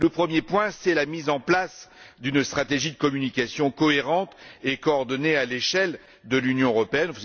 Le premier point, c'est la mise en place d'une stratégie de communication cohérente et coordonnée à l'échelle de l'Union européenne.